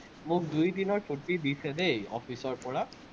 মোক দুই দিনৰ ছুটি দিছে দেই, office ৰপৰা।